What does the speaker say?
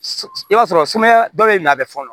I b'a sɔrɔ sumaya dɔ de na bɛ fɔ